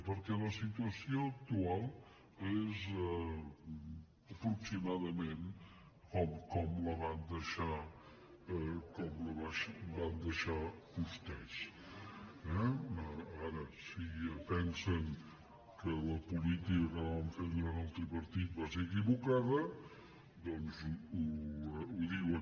perquè la situació actual és aproximadament com la van deixar vostès eh ara si pensen que la política que van fer durant el tripartit va ser equivocada doncs ho diuen